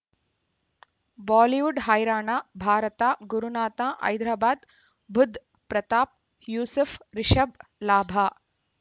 Bollywood ಹೈರಾಣ ಭಾರತ ಗುರುನಾಥ ಹೈದರಾಬಾದ್ ಬುಧ್ ಪ್ರತಾಪ್ ಯೂಸುಫ್ ರಿಷಬ್ ಲಾಭ